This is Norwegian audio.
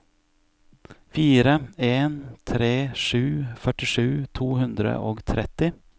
fire en tre sju førtisju to hundre og tretti